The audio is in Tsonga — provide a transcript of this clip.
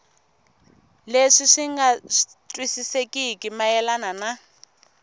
leswi swi nga twisisekeki mayelana